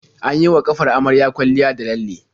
An yi wa ƙafar amaryar kwalliya da lalle.